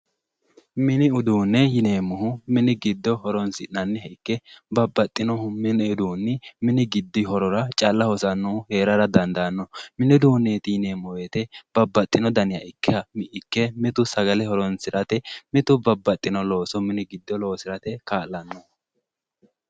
Mini uduune yineemmohu, mini uduuni mini giddo horonsi'nanniha ikke babbaxinohu mini uduuni mini giddi horora calla hosanohu heerara dandaano mini uduuneti yineemmo woyte babbaxinoha ikke mitu sagale horonsirate mitu babbaxino looso mini giddo loosirate kaa'lano.